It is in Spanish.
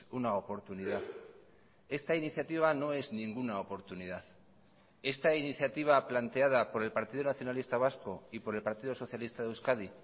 una oportunidad esta iniciativa no es ninguna oportunidad esta iniciativa planteada por el partido nacionalista vasco y por el partido socialista de euskadi